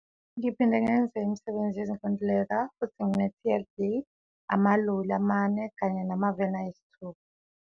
Ngiphinde ngenze imisebenzi yezinkontileka futhi ngine TLB, amaloli amane kanye namaveni ayisithupha.